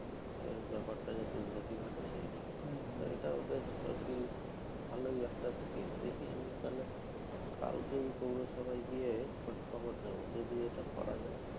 এই ব্যাপারটা যাতে উন্নতি ঘটে সেই জন্য। তো এইটা বেশ আরকি ভালোই একটা scheme. দেখি আমি তাহলে কালকেই পৌরসভায় গিয়ে খোঁজখবর নেবো, যদি এটা করা যায়।